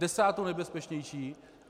Desátou nejbezpečnější!